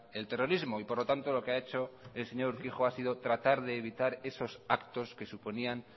el terrorismo por lo tanto lo que ha hecho el señor urquijo es tratar de evitar esos actos que suponían